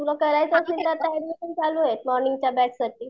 तुला करायचा असेल तर एड्मिशन चालू आहे मॉर्निंगच्या बॅचसाठी